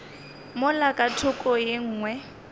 mola ka thoko ye nngwe